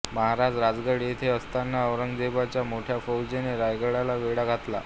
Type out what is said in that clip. महाराज रायगड येथे असताना औरंगजेबाच्या मोठ्या फौजेने रायगडाला वेढा घातला